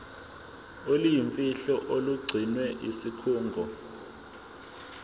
oluyimfihlo olugcinwe yisikhungo